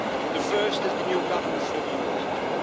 The first is the new governance for the eurozone.